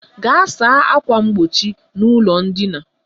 Gaa saa ákwà mgbochi n'ụlọ ndina!